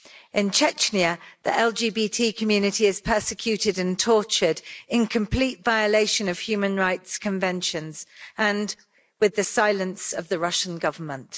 In Chechnya, the LGBT community is persecuted and tortured in complete violation of human rights conventions, and with the silence of the Russian Government.